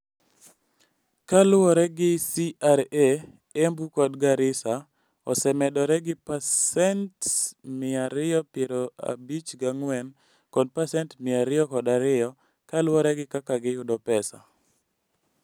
Kaluwore gi CRA, Embu kod Garissa osemedore gi pasent 254 kod pasent 202 kaluwore gi kaka giyudo pesa.